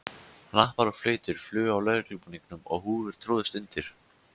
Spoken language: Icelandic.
Hnappar og flautur flugu af lögreglubúningum og húfur tróðust undir.